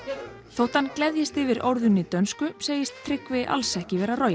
þótt hann gleðjist yfir dönsku segist Tryggvi alls ekki vera